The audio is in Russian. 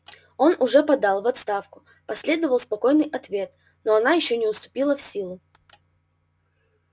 он уже подал в отставку последовал спокойный ответ но она ещё не вступила в силу